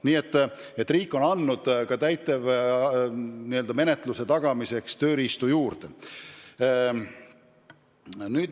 Nii et riik on andnud ka täitemenetluse tagamiseks tööriistu juurde.